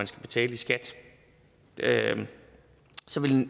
skal betales i skat at